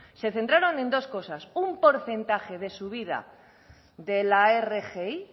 se centraron en dos cosas un porcentaje de subida de la rgi